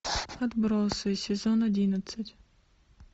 отбросы сезон одиннадцать